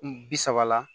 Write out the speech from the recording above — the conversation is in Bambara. Bi saba la